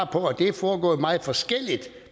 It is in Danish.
på at det er foregået meget forskelligt